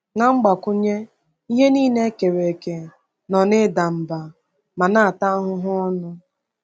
Na mgbakwunye, “ihe niile e kere eke nọ n’ida mba ma na-ata ahụhụ ọnụ.”